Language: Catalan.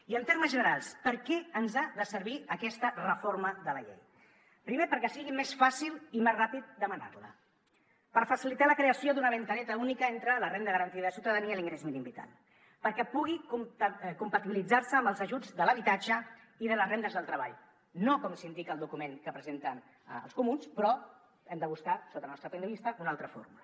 i en termes generals per a què ens ha de servir aquesta reforma de la llei primer perquè sigui més fàcil i més ràpid demanar la per facilitar la creació d’una finestreta única entre la renda garantida de ciutadania i l’ingrés mínim vital perquè pugui compatibilitzar se amb els ajuts de l’habitatge i de les rendes del treball no com s’indica al document que presenten els comuns però hem de buscar sota el nostre punt de vista una altra fórmula